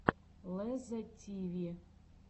лезза тиви